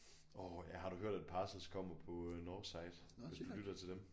Åh ja har du hørt at Parcels kommer på øh Northside hvis du lytter til dem